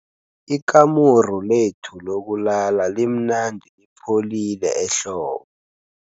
Ikamuru lethu lokulala limnandi lipholile ehlobo.